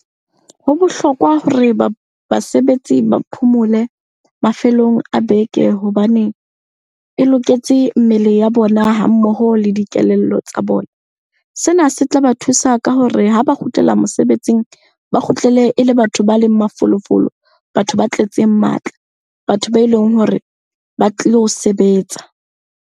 Ho bohlokwa hore basebetsi ba phomole mafelong a beke hobane e loketse mmele ya bona ha mmoho le dikelello tsa bona. Sena se tla ba thusa ka hore ha ba kgutlela mosebetsing, ba kgutlele e le batho ba leng mafolofolo, batho ba tletseng matla, batho be leng hore ba tlilo sebetsa.